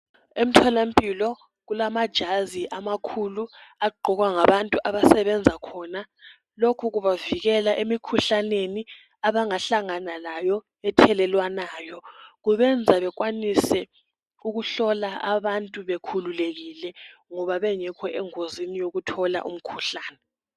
Emtholampilo kulamajazi amakhulu agqokwa ngabantu abasebenza khona. Lokhu kubavikela emikhuhlaneni abangahalngana layo ethelelwanayo. Kubenza bekwanise ukuhlola abantu bekhululekile ngoba bengekho engozini yokuthola umkhuhlane.